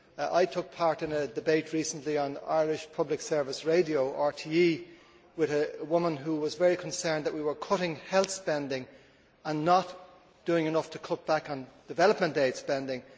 I took part in a debate recently on the Irish public service radio, RTÉ, with a woman who was very concerned that we were cutting health spending and not doing enough to cut back on development aid spending.